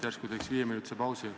Järsku teeks viieminutilise pausi?